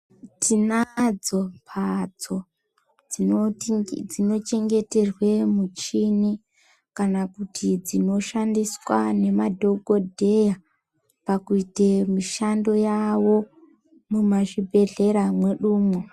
Tinadzo mhatso dzino chengeterwe michini kana kuti dzino shandiswa nema dhogodheya, pakuite mishando yavo mumazvi bhedhlera mwedumwo.